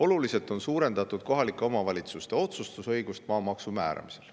Oluliselt on suurendatud kohalike omavalitsuste otsustusõigust maamaksu määramisel.